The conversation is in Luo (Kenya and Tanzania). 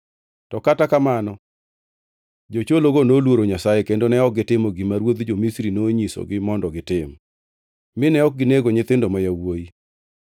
To kata kamano, jochologo noluoro Nyasaye kendo ne ok gitimo gima ruodh jo-Misri nonyisogi mondo gitim, mine ok ginego nyithindo ma yawuowi.